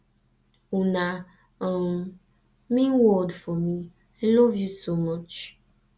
una um mean world for me i love you so much